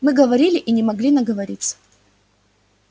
мы говорили и не могли наговориться